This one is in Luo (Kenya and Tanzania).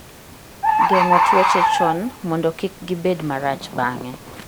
Geng'o tuoche chon mondo kik gibed marach bang'e.